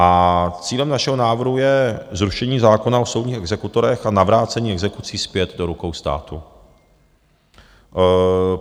A cílem našeho návrhu je zrušení zákona o soudních exekutorech a navrácení exekucí zpět do rukou státu.